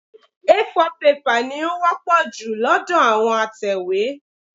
A4 pẹ́pà ni ó wọ́pọ̀ jù lọ́dọ̀ àwọn atẹ̀wé.